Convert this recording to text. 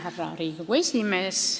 Härra Riigikogu esimees!